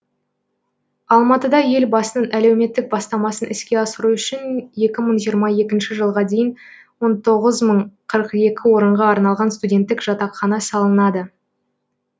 алматыда елбасының әлеуметтік бастамасын іске асыру үшін екі мың жиырма екінші жылға дейін он тоғыз мың қырық екі орынға арналған студенттік жатақхана салынады